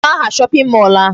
Kedụ aha shopping mall a?